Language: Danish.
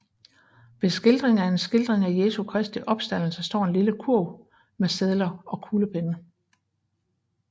Ved siden af en skildring af Jesu Kristi opstandelse står en lille kurv med sedler og kuglepenne